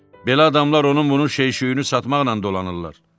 Belə adamlar onun bunun şey-şüyünü satmaqla dolanırlar.